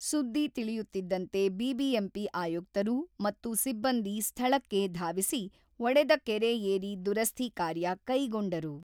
ಸುದ್ದಿ ತಿಳಿಯುತ್ತಿದ್ದಂತೆ ಬಿಬಿಎಂಪಿ ಆಯುಕ್ತರು ಮತ್ತು ಸಿಬ್ಬಂದಿ ಸ್ಥಳಕ್ಕೆ ಧಾವಿಸಿ, ಒಡೆದ ಕೆರೆ ಏರಿ ದುರಸ್ತಿ ಕಾರ್ಯ ಕೈಗೊಂಡರು.